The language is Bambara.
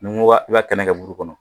Ni n ko ba i b'a kɛnɛ kɛ buru kɔnɔ